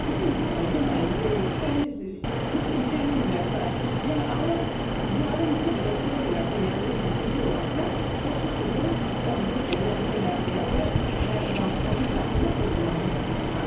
Bütün insanlar yeməyi təmiz, düzgün çeynəmirlərsə, yəni alıb yarımçıq ötürürlərsə, yəni udurlarsa, sözsüz ki, bu obezitetə, yəni piyələnməyə və mədə bağırsağın traktının pozulmasına gətirib çıxarır.